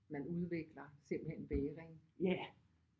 Man udvikler simpelthen vægring